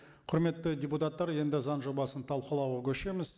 құрметті депутаттар енді заң жобасын талқылауға көшеміз